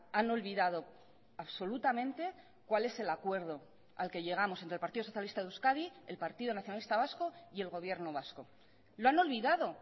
han olvidado absolutamente cuál es el acuerdo al que llegamos entre el partido socialista de euskadi el partido nacionalista vasco y el gobierno vasco lo han olvidado